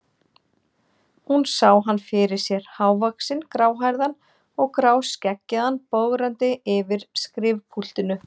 Hún sá hann fyrir sér, hávaxinn, gráhærðan og gráskeggjaðan, bograndi yfir skrifpúltinu.